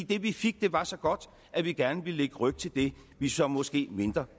det vi fik var så godt at vi gerne ville lægge ryg til det vi så måske